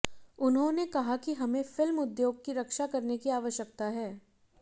उन्होंने कहा कि हमें फिल्म उद्योग की रक्षा करने की आवश्यकता है